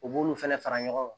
U b'olu fana fara ɲɔgɔn